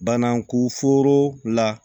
Bana koforo la